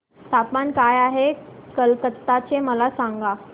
तापमान काय आहे कलकत्ता चे मला सांगा